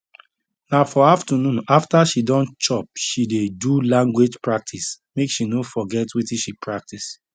na for afternoon after she don chop she dey do language practice make she no forget wetin she practice